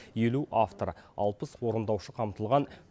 елу автор алпыс орындаушы қамтылған